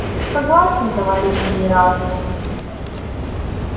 согласен товарищ генерал